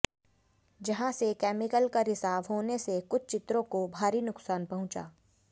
जहां से केमिकल का रिसाव होने से कुछ चित्रों को भारी नुकसान पहुंचा